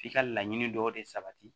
F'i ka laɲini dɔw de sabati